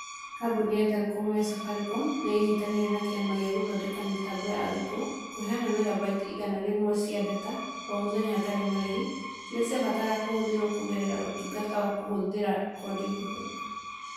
Kambuni ya Telecom ya Safaricom nĩ ĩnyitanĩire na Kĩama gĩa gũthondeka mĩbango ya arutwo kũheana megabytes igana rĩmwe cia data o mũthenya hatarĩ marĩhi, iria ciabataraga kũhũthĩrwo kũgerera Ũtungata wa kũhũthĩra koode nguhĩ.